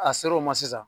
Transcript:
A ser'o ma sisan